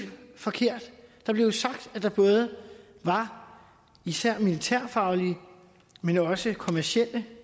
forkert der blev sagt at der både var især militærfaglige men også kommercielle